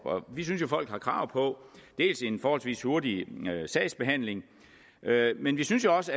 vi synes jo folk har krav på en forholdsvis hurtig sagsbehandling men vi synes også